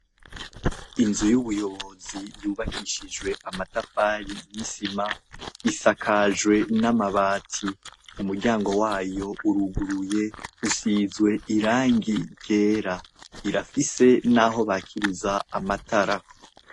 Inzu y'ubuyobozi yubakishijwe amatafari n'isima. Isakajwe n'amabati, umuryango wayo uruguruye, ushinzwe irangi ryera. Irafise n'aho bakiriza amatara.